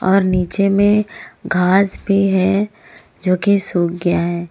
और नीचे में घास भी है जो की सूख गया है।